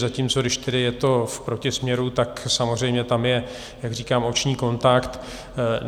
Zatímco když tedy je to v protisměru, tak samozřejmě tam je, jak říkám, oční kontakt.